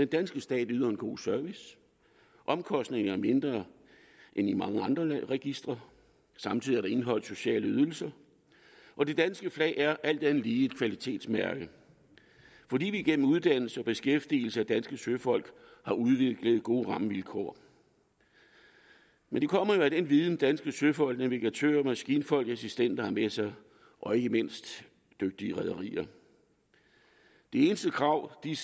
danske stat yder en god service omkostningerne er mindre end i mange andre landes registre samtidig indeholder sociale ydelser og det danske flag er alt andet lige et kvalitetsmærke fordi vi gennem uddannelse og beskæftigelse af danske søfolk har udviklet gode rammevilkår men de kommer jo af den viden som danske søfolk navigatører maskinfolk og assistenter har med sig og ikke mindst af dygtige rederier det eneste krav der